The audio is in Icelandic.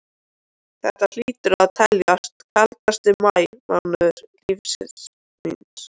Þetta hlýtur að teljast kaldasti maí mánuður lífs míns.